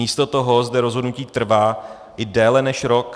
Místo toho zde rozhodnutí trvá i déle než rok.